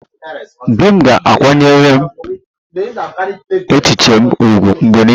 Di m ga-akwanyere echiche m ùgwù mgbe niile